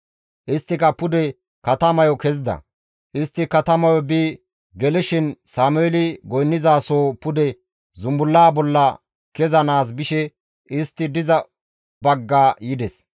Isttika pude katamayo kezida; istti katamayo bi gelishin Sameeli goynnizasoho pude zumbullaa bolla kezanaas bishe istti diza bagga yides.